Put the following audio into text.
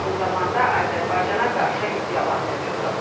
Eyni zamanda Azərbaycana qarşı iddialar mövcuddur.